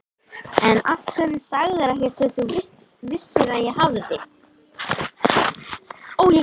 En af hverju sagðirðu ekkert fyrst þú vissir að ég hafði.